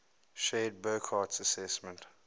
shared burckhardt's assessment